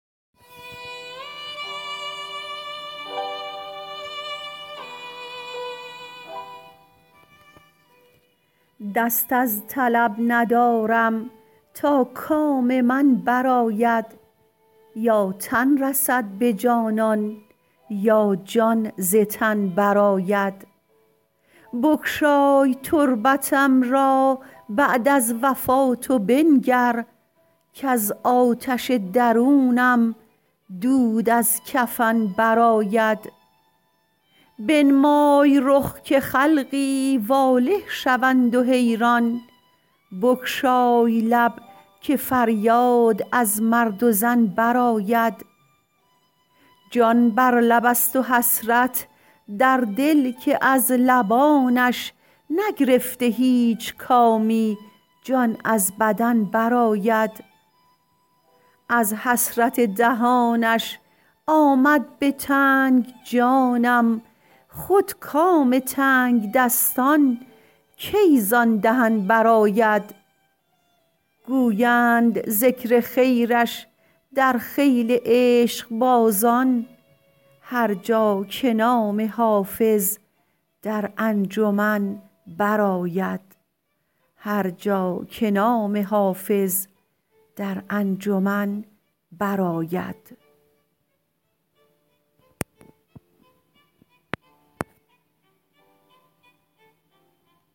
دست از طلب ندارم تا کام من برآید یا تن رسد به جانان یا جان ز تن برآید بگشای تربتم را بعد از وفات و بنگر کز آتش درونم دود از کفن برآید بنمای رخ که خلقی واله شوند و حیران بگشای لب که فریاد از مرد و زن برآید جان بر لب است و حسرت در دل که از لبانش نگرفته هیچ کامی جان از بدن برآید از حسرت دهانش آمد به تنگ جانم خود کام تنگدستان کی زان دهن برآید گویند ذکر خیرش در خیل عشقبازان هر جا که نام حافظ در انجمن برآید